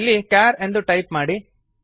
ಇಲ್ಲಿ ಕೇರ್ ಎಂದು ಟೈಪ್ ಮಾಡಿ